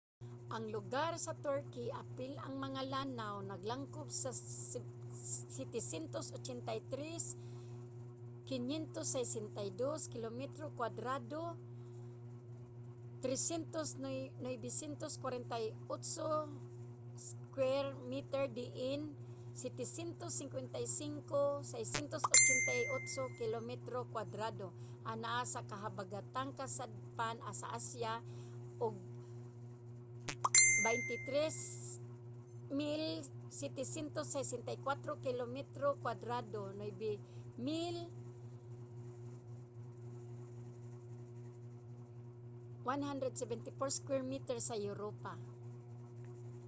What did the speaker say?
ang lugar sa turkey apil ang mga lanaw naglangkob sa 783,562 kilometro kwadrado 300,948 sq mi diin 755,688 kilometro kwadrado anaa sa habagatang kasadpan sa asya ug 23,764 kilometro kwadrado 9,174 sq mi sa europa